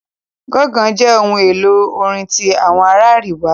Ganga jẹ ohun elo orin ti awọn ara ariwa.